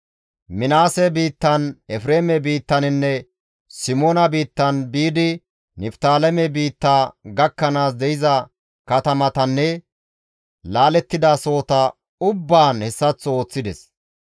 Minaase biittan, Efreeme biittaninne Simoona biittan biidi Niftaaleme biitta gakkanaas de7iza katamatanne laalettida sohota ubbaan hessaththo ooththides.